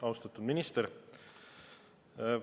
Austatud minister!